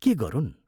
के गरुन्?